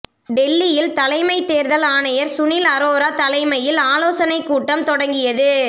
டெல்லியில் தலைமைத்தேர்தல் ஆணையர் சுனில் அரோரா தலைமையில் ஆலோசனைக் கூட்டம் தொடங்கியது